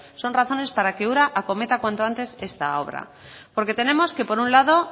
son razones para que ura acometa cuanto antes esta obra porque tenemos que por un lado